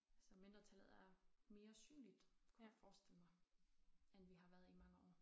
Så mindretallet er mere synligt kunne jeg forestille mig end vi har været i mange år